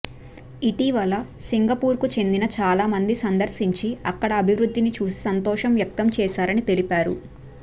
ఇటీవల సింగపూర్కు చెందిన చాలామంది సందర్శించి అక్కడి అభివృద్ధిని చూసి సంతోషం వ్యక్తం చేశారని తెలిపారు